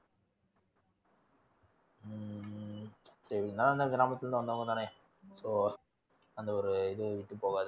கிராமத்துல இருந்து வந்தவங்கதானே so அந்த ஒரு இது விட்டு போகாது